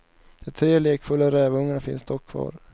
De tre lekfulla rävungarna finns dock kvar.